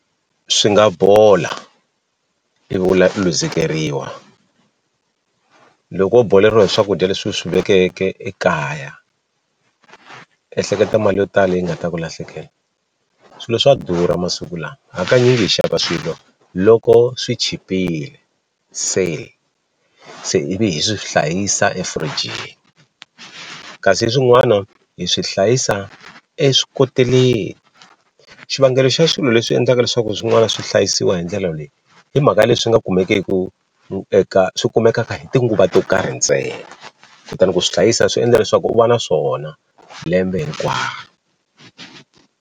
Swi nga bola ivi u u luzekeriwa loko wo boleriwa hi swakudya leswi u swi vekeke ekaya ehleketa mali yo tala leyi nga ta ku lahlekela swilo swa durha masiku lama hakanyingi hi xava swilo loko swi chipile se se ivi hi swi hlayisa efirijini kasi hi swin'wana hi swi hlayisa eswikoteleni xivangelo xa swilo leswi endlaka leswaku swin'wana swi hlayisiwa hi ndlela leyi hi mhaka le swi nga kumekeku eka swi kumeka hi tinguva to karhi ntsena kutani ku swi hlayisa swi endla leswaku u va na swona lembe hinkwaro.